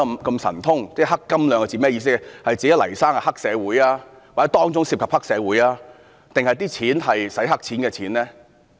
究竟是指黎先生是黑社會、當中涉及黑社會或當中涉及"洗黑錢"呢？